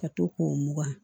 Ka to k'o mugan